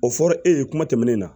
O fɔra e ye kuma tɛmɛnen na